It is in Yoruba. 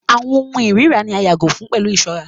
Àwọn ohùn irira ni a yàgò fun pẹlu iṣọra